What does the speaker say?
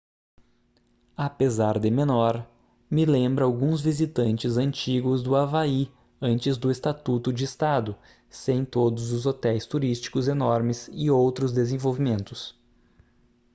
apesar de menor me lembra alguns visitantes antigos do havaí antes do estatuto de estado sem todos os hotéis turísticos enormes e outros desenvolvimentos